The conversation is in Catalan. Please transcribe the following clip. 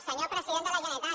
senyor president de la generalitat